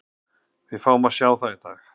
Við fáum að sjá það í dag.